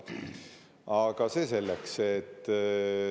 Aga see selleks.